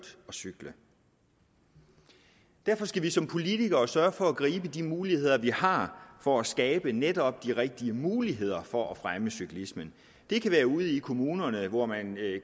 cykle derfor skal vi som politikere sørge for at gribe de muligheder vi har for at skabe netop de rigtige muligheder for at fremme cyklismen det kan være ude i kommunerne hvor man